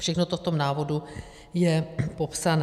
Všechno to v tom návodu je popsané.